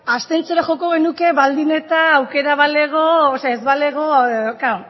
abstentziora joko genuke baldin eta aukera ez balego